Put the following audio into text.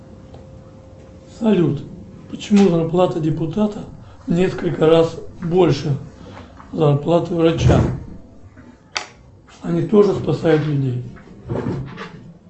салют почему зарплата депутата в несколько раз больше зарплаты врача они тоже спасают людей